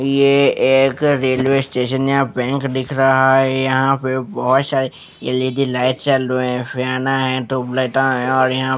ये एक railway station या बैंक दिख रहा है यहाँ पे बहुत शारे एल_ई_डी लाइट चल रही है फैना हैं ट्यूबलाइटा हैं और यहाँ--